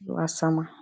biyu, don haƙƙin junan su,?